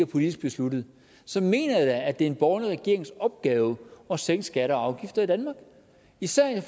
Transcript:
politisk besluttet så mener jeg da at det er en borgerlig regerings opgave at sænke skatter og afgifter i danmark især i